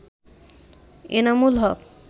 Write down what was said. Enamul Haque